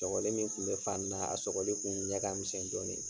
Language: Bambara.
Tɔkɔli min kun be fani naa, a sɔgɔli kun ɲɛ ka misɛn dɔɔni.